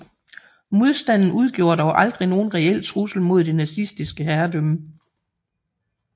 Modstanden udgjorde dog aldrig nogen reel trussel mod det nazistiske herredømme